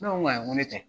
Ne ko n ko ayi n ko ne tɛ